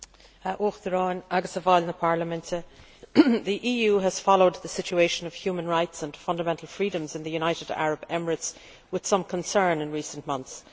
Mr President, the EU has followed the situation of human rights and fundamental freedoms in the United Arab Emirates with some concern in recent months.